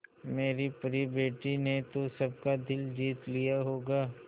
मेरी परी बेटी ने तो सबका दिल जीत लिया होगा